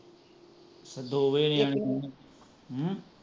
ਦੋ ਵਜੇ ਨਿਆਣੇ ਹਮ